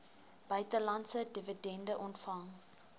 buitelandse dividende ontvang